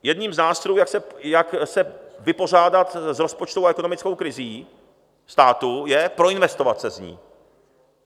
Jedním z nástrojů, jak se vypořádat s rozpočtovou a ekonomickou krizí státu, je proinvestovat se z ní.